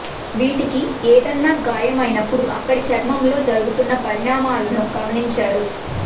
వీటికి ఏదన్నా గాయం అయినప్పుడు అక్కడి చర్మంలో జరుగుతున్న పరిణామాలను గమనించారు